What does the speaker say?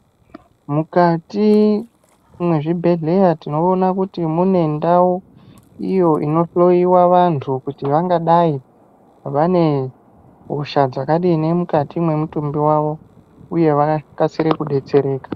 Mukati mwezvibhedhleya tinoona kuti mune ndau iyo inohloyiwa vantu kuti vangadai vane hosha dzakadini mukati mwemutumbi wavo uye vakasire kudetsereka.